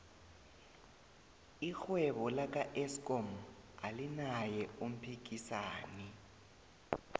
irhwebo laka eskom alinaye umphikisani